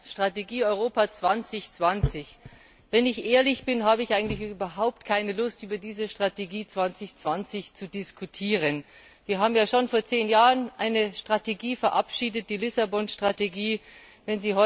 Strategie Europa 2020 wenn ich ehrlich bin, habe ich eigentlich überhaupt keine Lust, über diese Strategie 2020 zu diskutieren. Wir haben ja schon vor zehn Jahren eine Strategie verabschiedet, die Strategie von Lissabon.